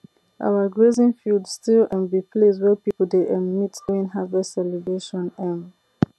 our grazing field still um be place wey people dey um meet during harvest celebration um